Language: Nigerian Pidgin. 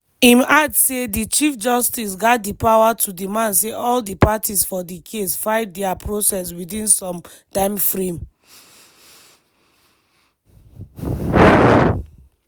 im add say di chief justice gat di power to demand say all di parties for di case file dia processes within some timeframe.